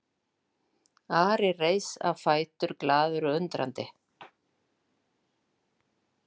Ari reis á fætur glaður og undrandi.